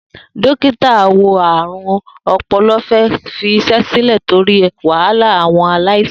Dókíta awo-àrùn-ọpọlọ fẹ́ fi iṣé sílẹ̀ torí wàhálà àwọn aláìsàn.